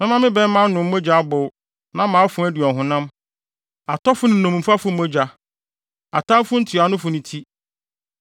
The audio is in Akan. Mɛma me bɛmma anom mogya abow, na mʼafoa adi ɔhonam, atɔfo ne nnommumfo mogya, atamfo ntuanofo no ti.”